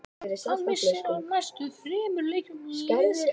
Missir hann af næstu þremur leikjum liðsins.